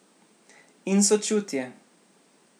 In sočutje.